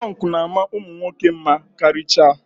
Pọnkụ na-ama ụmụ nwoke mma karịchaa.